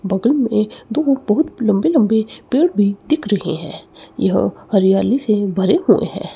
बगल में दो बहुत लंबे लंबे पेड़ भी दिख रहे हैं यह हरियाली से भरे हुए हैं।